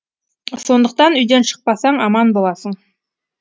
сондықтан үйден шықпасаң аман боласың